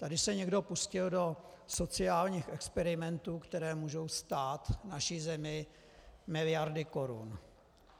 Tady se někdo pustil do sociálních experimentů, které můžou stát naši zemi miliardy korun.